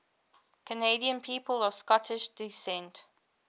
canadian people of scottish descent